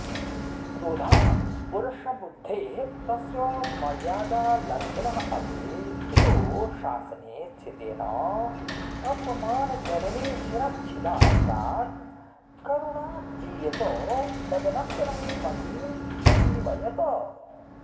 क्रोधात् पुरुषबुद्धेः तस्य मर्यादालङ्घिनः अपि पितुः शासने स्थितेन कम्पमानजननीशिरश्छिदा प्राक् करुणाजीयत तदनन्तरं महीम् अजीवयत